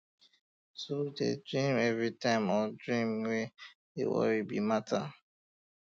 to de dream every time or dream um wey um de worried be matter um